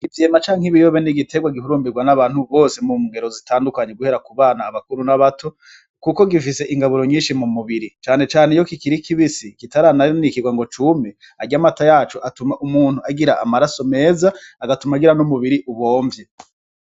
Ivyema canke ibiyobe n'igiterwa gihurumbirwa n'abantu bose mu ngero zitandukanye guhera ku bana abakuru n'abato, kuko gifise ingaburo nyinshi mu mubiri canecane iyo kikirikibisi kitaranarinikirwa ngo cume arya amata yacu atuma umuntu agira amaraso meza agatuma agira n'umubiri ubomvye.